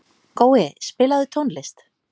Gói, spilaðu tónlist.